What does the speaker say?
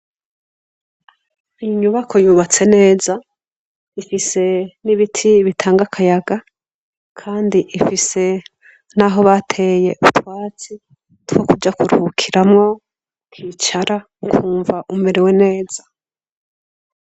Inyubako yubatse neza ifise n'ibiti bitanga akayaga, kandi ifise n'aho bateye utwatsi two kuja kuruhukiramwo, ukicara ukumva umerewe neza.